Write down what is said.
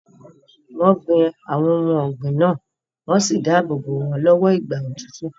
Wọ́n gbin àwọn ohun ọ̀gbìn náà wọ́n sì dáàbò bo wọn lọ́wọ́ ìgbà òtútù.